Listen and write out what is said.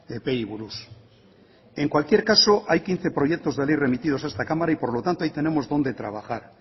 epeei buruz en cualquier caso hay quince proyectos de ley remitidos a esta cámara y por lo tanto ahí tenemos donde trabajar